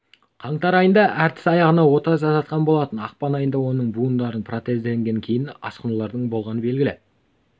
қаңтар айында әртіс аяғына ота жасатқан болатын ақпан айында оның буындарын протездегеннен кейін асқынулардың болғаны белгілі